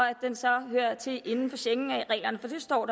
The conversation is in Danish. at den så hører til inden for schengenreglerne for det står